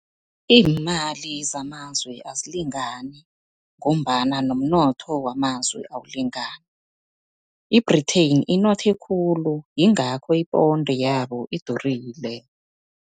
Iimali zamazwe azilingani, ngombana nomnotho wamazwe awulingani. I-Britain inothe khulu, yingakho iponde yabo idurile.